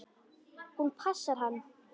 Hún passar hann!